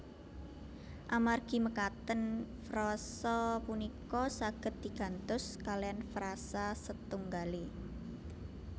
Amargi mekaten frasa punika saged di gantos kalean frasa setunggalé